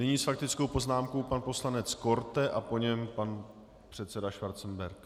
Nyní s faktickou poznámkou pan poslanec Korte a po něm pan předseda Schwarzenberg.